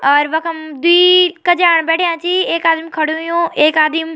अर वखम द्वी कज्यान बैठ्याँ छीं एक आदिम खडू हुंयु एक आदिम।